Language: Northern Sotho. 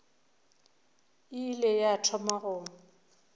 e ile ya thoma go